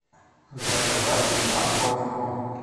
заказать морковку